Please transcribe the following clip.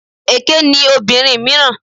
Èké ni obìnrin mìíràn.